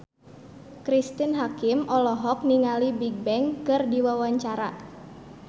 Cristine Hakim olohok ningali Bigbang keur diwawancara